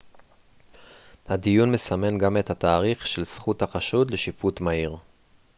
הדיון מסמן גם את התאריך של זכות החשוד לשיפוט מהיר